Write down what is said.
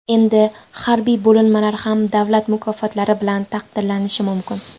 Endi harbiy bo‘linmalar ham davlat mukofotlari bilan taqdirlanishi mumkin.